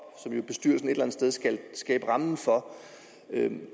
skal skabe rammen for